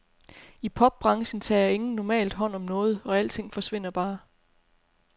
I popbranchen tager ingen normalt hånd om noget, og alting forsvinder bare.